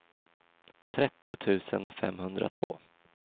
trettio tusen femhundratvå